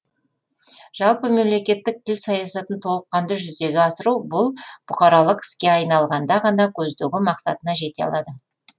жалпы мемлекеттік тіл саясатын толыққанды жүзеге асыру бұл бұқаралық іске айналғанда ғана көздеген мақсатына жете алады